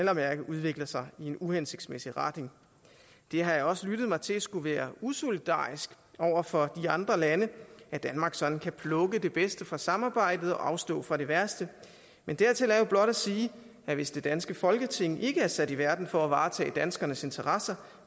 at mærke udvikler sig i en uhensigtsmæssig retning jeg har også lyttet mig til at det skulle være usolidarisk over for de andre lande at danmark sådan kan plukke det bedste fra samarbejdet og afstå fra det værste men dertil er jo blot at sige at hvis det danske folketing ikke er sat i verden for at varetage danskernes interesser